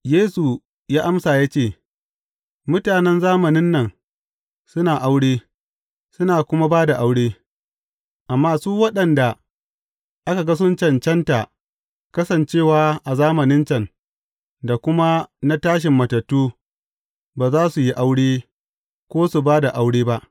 Yesu ya amsa ya ce, Mutanen zamanin nan suna aure, suna kuma ba da aure, amma su waɗanda aka ga sun cancantar kasancewa a zamanin can, da kuma na tashin matattu, ba za su yi aure, ko su ba da aure ba.